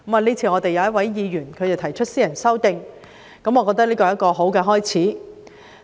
今次我們一位議員提出私人條例草案，我認為這是一個好開始。